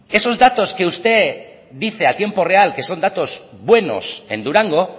que esos datos que dice usted a tiempo real que son datos buenos en durango